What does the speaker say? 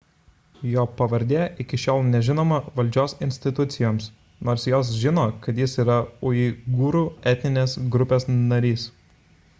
jo pavardė iki šiol nežinoma valdžios institucijoms nors jos žino kad jis yra uigūrų etninės grupės narys